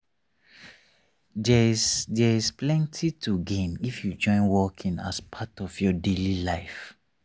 there’s there’s plenty to gain if you join walking as part of your daily life.